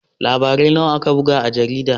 Labarai nawa aka buga a jaridar?